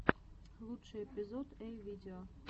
лучший эпизод эй видео